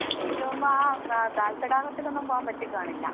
അപ്പോ എനിക്ക് തോന്നുന്നു ആ ദാൽ തടാകത്തിലൊന്നും പോവാൻ പറ്റി കാണില്ല.